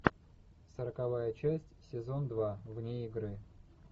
сороковая часть сезон два вне игры